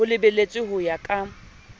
ho lebeletswe ho ya ka